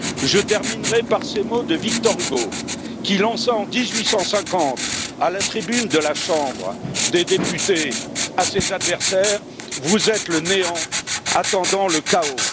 Je terminerai par ces mots de Victor Hugo, qui lança à ses adversaires, en 1850, à la tribune de la Chambre des députés vous êtes le néant attendant le chaos.